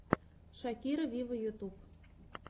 шакира виво ютуб